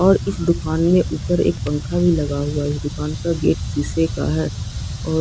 और इस दुकान में ऊपर एक पंखा भी लगा हुआ है इस दुकान का गेट सीसे का है और--